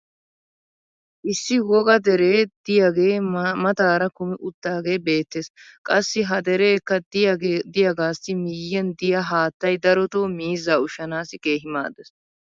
Issi woga deree diyaagee maataara kumi utaagee beetees. Qassi ha dereekka diyaagaassi miyiyan diyaa haattay darotoo miizzaa ushshanaassi keehi maadees.